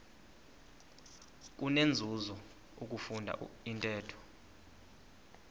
kunenzuzo ukufunda intetho